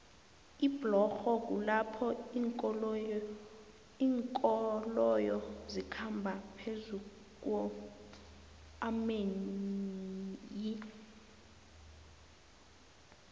iblorho kulapho linkoloyo zikhamba phezukuomanei